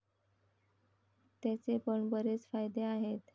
त्याचे पण बरेच फायदे आहेत.